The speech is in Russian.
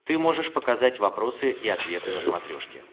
ты можешь показать вопросы и ответы на смотрешке